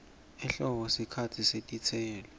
ehlobo sikhatsi setitselo